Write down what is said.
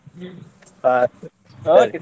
ಹಾ ಹಾಗೆ.